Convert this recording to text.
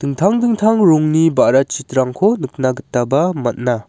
dingtang dingtang rongni ba·ra chitrangko nikna gitaba man·a.